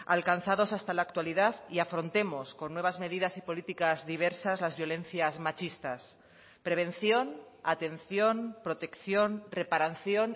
alcanzados hasta la actualidad y afrontemos con nuevas medidas y políticas diversas las violencias machistas prevención atención protección reparación